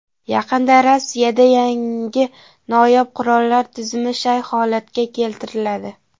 Yaqinda Rossiyada yangi noyob qurollar tizimi shay holatga keltiriladi.